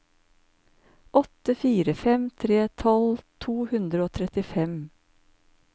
åtte fire fem tre tolv to hundre og trettifem